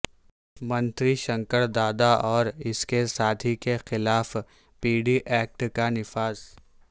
منتری شنکر دادا اور اس کے ساتھی کے خلاف پی ڈی ایکٹ کا نفاذ